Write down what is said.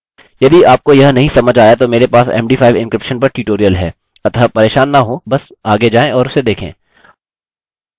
यदि आपको यह नहीं समझ आया तो मेरे पास md5 encryption पर ट्यूटोरियल है अतः परेशान न हों बस आगे जाएँ और उसे देखें